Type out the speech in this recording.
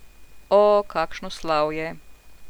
Seveda na račun nevednega kupca, ki je kupil mačka v žaklju.